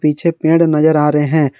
पीछे पेड़ नजर आ रहे हैं।